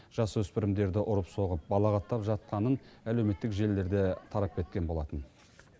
жасөспірімдерді ұрып соғып балағаттап жатқанын әлеуметтік желілерде тарап кеткен болатын